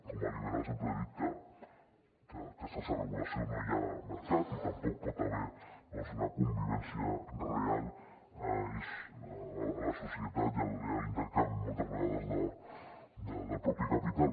com a liberal sempre dic que sense regulació no hi ha mercat i tampoc pot haver hi una convivència real a la societat ni d’intercanvi moltes vegades del propi capital